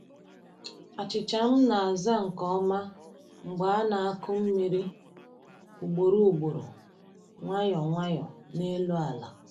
Achịcha m na-aza nke ọma mgbe a na-akụ mmiri ugboro ugboro, nwayọọ nwayọọ n’elu ala.